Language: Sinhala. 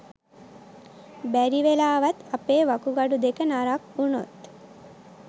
බැරිවෙලාවත් අපේ වකුගඩු දෙක නරක් වුණොත්